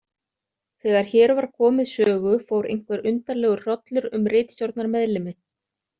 Þegar hér var komið sögu fór einhver undarlegur hrollur um ritstjórnarmeðlimi.